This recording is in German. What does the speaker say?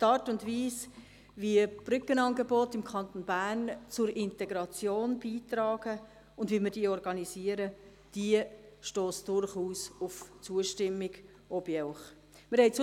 Die Art und Weise wie Brückenangebote im Kanton Bern zur Integration beitragen, und wie wir diese organisieren, stösst durchaus auf Zustimmung, auch bei Ihnen.